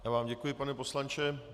Já vám děkuji, pane poslanče.